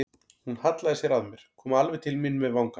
Hún hallaði sér að mér, kom alveg til mín með vangann.